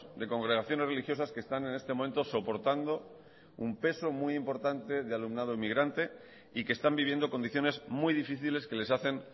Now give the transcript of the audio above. de congregaciones religiosas que están en este momento soportando un peso muy importante de alumnado inmigrante y que están viviendo condiciones muy difíciles que les hacen